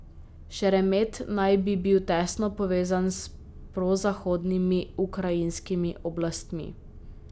Šeremet naj bi bil tesno povezan s prozahodnimi ukrajinskimi oblastmi.